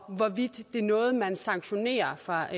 og hvorvidt det er noget man sanktionerer fra